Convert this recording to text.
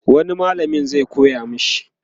wani mallamin zai koya mashi?